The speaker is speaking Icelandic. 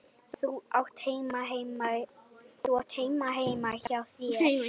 Þú átt heima heima hjá þér!